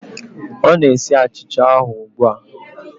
Ọ na-esi achicha ahụ ugbu a